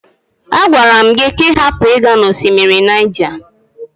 A gwara m gị ka ị hapụ ịga na osimiri Niger.